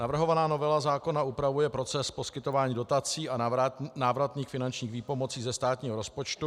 Navrhovaná novela zákona upravuje proces poskytování dotací a návratných finančních výpomocí ze státního rozpočtu.